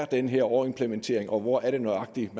den her overimplementering er og hvor det nøjagtigt